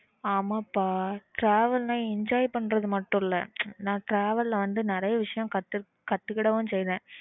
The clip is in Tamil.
ஆமா பா travel ன்ன enjoy பண்றது மாட்டும் இல்ல நான் travel ல வந்து நிறைய விஷயம் கத்துக்கிட்டேன்